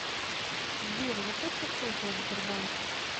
сбер я просто в шоке от сбербанка